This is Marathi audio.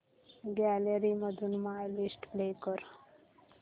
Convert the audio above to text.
गॅलरी मधून माय लिस्ट प्ले कर